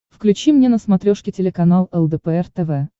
включи мне на смотрешке телеканал лдпр тв